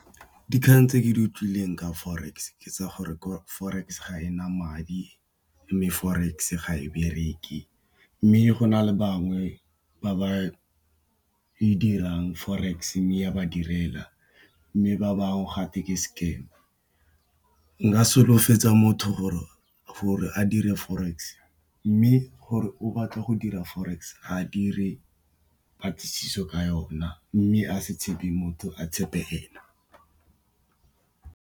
Dikgang tse ke di utlwileng ka Forex ke tsa gore Forex ga ena madi, mme Forex ga e bereke, mme go na le ba ba bangwe ba e dirang Forex mme ya ba direla. Mme, ba bangwe gatwe ke scam nka solofetsa motho gore a dire Forex. Mme, gore o batla go dira Forex, a dire patlisiso ka yona mme a se tshepe motho a tshepe ene.